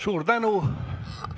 Suur tänu!